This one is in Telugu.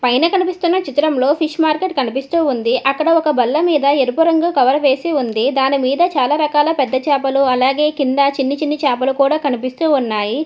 పైన కనిపిస్తున్న చిత్రంలో ఫిష్ మార్కెట్ కనిపిస్తూ ఉంది అక్కడ ఒక బల్ల మీద ఎరుపు రంగు కవర్ వేసి ఉంది దాని మీద చాలా రకాల పెద్ద చేపలు అలాగే కింద చిన్న చిన్న చేపలు కూడా కనిపిస్తూ ఉన్నాయి.